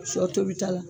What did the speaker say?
Sɔ tobita la